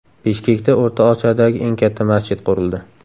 Bishkekda O‘rta Osiyodagi eng katta masjid qurildi.